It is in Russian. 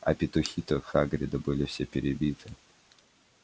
а петухи-то хагрида были все перебиты